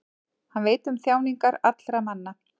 hann veit um þjáningar allra manna